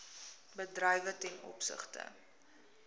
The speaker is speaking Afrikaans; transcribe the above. bedrywe ten opsigte